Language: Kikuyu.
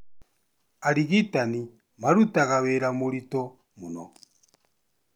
Arigitani marutaga wĩra mũrito mũno